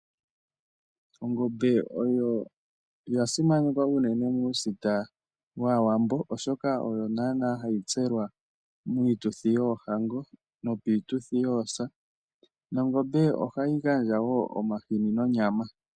Ongombe oya simanekwa unene muusita waawambo. Oshoka oyo hayi tselwa miituthi yoohango nopiituthi yoosa. Ongombe ohayi gandja woo omahini nonyama.